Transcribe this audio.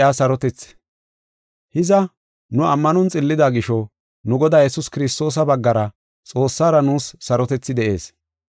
Hiza, nu ammanon xillida gisho, nu Godaa Yesuus Kiristoosa baggara Xoossara nuus sarotethi de7ees.